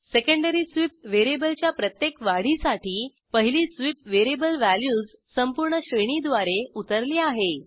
secondary sweep वेरिएबलच्या प्रत्येक वाढीसाठी पहिली स्वीप वेरिएबल वॅल्यूज संपूर्ण श्रेणीद्वारे उतरली आहे